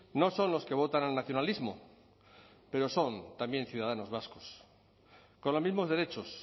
no son los que votan al nacionalismo pero son también ciudadanos vascos con los mismos derechos